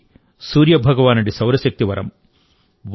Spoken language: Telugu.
ఇది సూర్య భగవానుడి సౌరశక్తి వరం